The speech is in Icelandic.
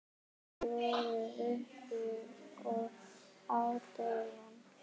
Þeir voru uppi á devon.